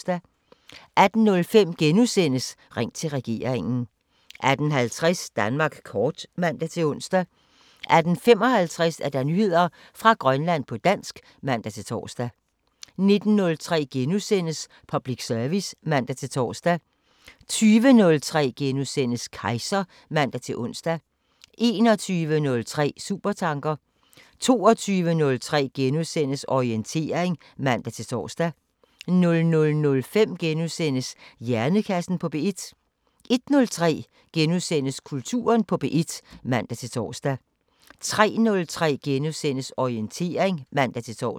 18:05: Ring til regeringen * 18:50: Danmark kort (man-ons) 18:55: Nyheder fra Grønland på dansk (man-tor) 19:03: Public service *(man-tor) 20:03: Kejser *(man-ons) 21:03: Supertanker 22:03: Orientering *(man-tor) 00:05: Hjernekassen på P1 * 01:03: Kulturen på P1 *(man-tor) 03:03: Orientering *(man-tor)